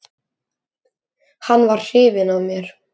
Hann var hrifinn af mér.